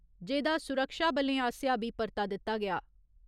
जेह्दा सुरक्षाबलें आसेआ बी परता दित्ता गेआ।